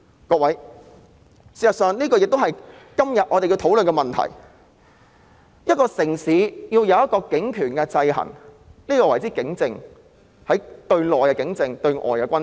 各位，事實上，這亦是今天我們要討論的問題，一個城市對警權的制衡，我們稱之為警政，對內是警政，對外則是軍政。